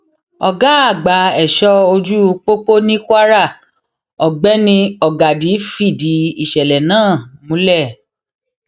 ọgá àgbà ẹṣọ ojú pópó ní kwara ọgbẹni ọgádì fìdí ìṣẹlẹ náà múlẹ